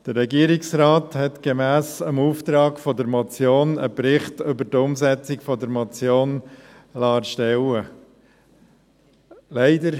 Der Regierungsrat hat gemäss Auftrag der Motion einen Bericht zur Umsetzung der Motion erstellen lassen.